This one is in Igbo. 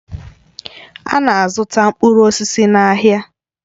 A na-azụta mkpụrụ osisi n'ahịa